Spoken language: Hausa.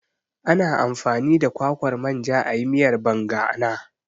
Ana amfani da kwakwar manja ayi miyar Banga ana